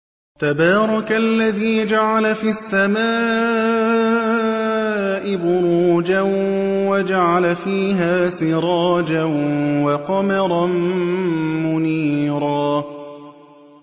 تَبَارَكَ الَّذِي جَعَلَ فِي السَّمَاءِ بُرُوجًا وَجَعَلَ فِيهَا سِرَاجًا وَقَمَرًا مُّنِيرًا